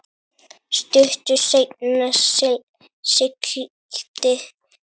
Stuttu seinna sigldi Esjan